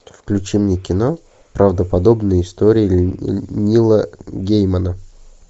включи мне кино правдоподобные истории нила геймана